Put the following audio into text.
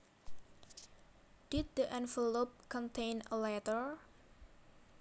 Did the envelope contain a letter